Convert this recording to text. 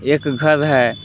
एक घर है।